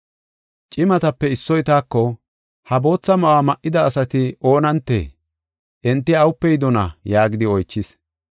Cimatape issoy taako, “Ha bootha ma7uwa ma7ida asati oonantee? Enti awupe yidona?” yaagidi oychis.